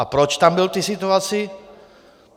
A proč tam byl v té situaci?